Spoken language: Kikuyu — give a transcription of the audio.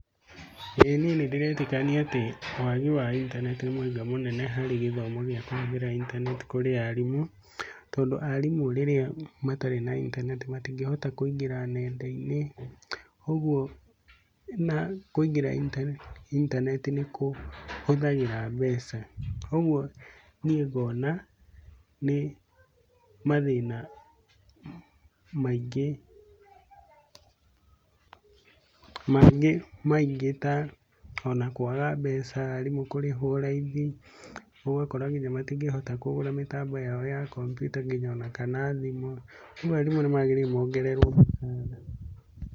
Ĩĩ niĩ nĩndĩretĩkania atĩ wagi wa intaneti nĩ mũhĩnga mũnene harĩ gĩthomo gĩa kũhũthĩra intaneti kũrĩ aarimũ. Tondũ aarimũ rĩrĩa matarĩ na intaneti matingĩhota kũingĩra ng'enda-inĩ. ũguo kũingĩra intaneti nĩkũhũthagĩra mbeca. ũguo niĩ ngona nĩ mathĩna maingĩ ta ona kwaga mbeca rĩmwe kũrĩhwo raithi ũgakora nginya matingĩhota kũgũra mĩtambo ya intaneti ta kompyuta ona nginya kana thimũ nĩguo aarimũ nĩ magĩrĩire mongererwo mũcaara.